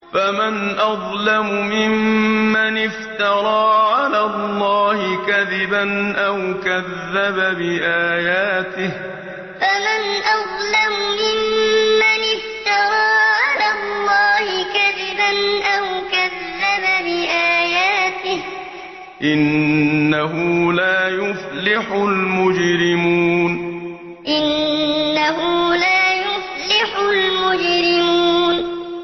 فَمَنْ أَظْلَمُ مِمَّنِ افْتَرَىٰ عَلَى اللَّهِ كَذِبًا أَوْ كَذَّبَ بِآيَاتِهِ ۚ إِنَّهُ لَا يُفْلِحُ الْمُجْرِمُونَ فَمَنْ أَظْلَمُ مِمَّنِ افْتَرَىٰ عَلَى اللَّهِ كَذِبًا أَوْ كَذَّبَ بِآيَاتِهِ ۚ إِنَّهُ لَا يُفْلِحُ الْمُجْرِمُونَ